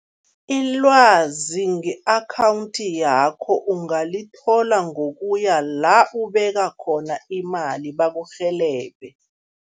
Ilwazi nge-akhawundi yakho ungalithola ngokuya la ubeka khona imali, bakurhelebhe.